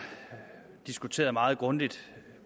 vi diskuteret meget grundigt